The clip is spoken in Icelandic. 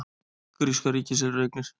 Gríska ríkið selur eignir